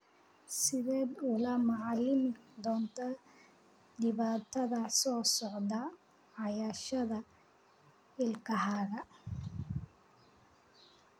Sideed ula macaamili doontaa dhibaatadan soo socota cadayashada ilkahaaga?